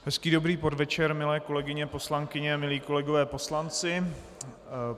Hezký dobrý podvečer, milé kolegyně poslankyně, milí kolegové poslanci.